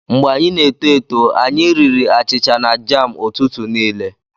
Mgbe anyị n'eto eto, anyị riri achịcha na jam ụtụtụ niile.